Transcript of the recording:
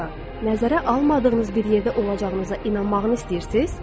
nəzərə almadığınız bir yerdə olacağınıza inanmağınız istəyirsiz?